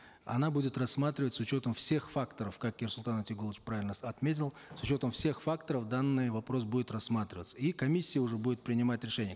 она будет рассматривать с учетом всех факторов как ерсултан утегулович правильно отметил с учетом всех факторов данный вопрос будет рассматриваться и комиссия уже будет принимать решение